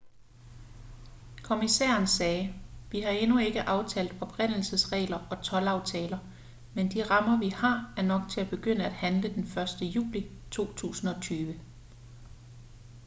kommissæren sagde vi har endnu ikke aftalt oprindelsesregler og toldaftaler men de rammer vi har er nok til at begynde at handle den 1. juli 2020